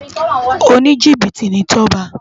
Ónijibiti ni Toba